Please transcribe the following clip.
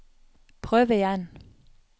prøv igjen